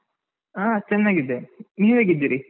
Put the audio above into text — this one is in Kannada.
ಹಾ ಚೆನ್ನಾಗಿದ್ದೆ, ನೀವ್ ಹೇಗಿದ್ದೀರಿ?